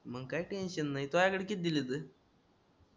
मंग काय टेन्शन नाही तुझ्याकडे किती दिल्यात